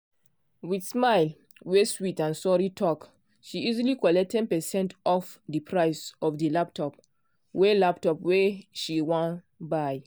with smile wey sweet and sorry talk she easily collect ten percent off di price of di laptop wey laptop wey she wan buy.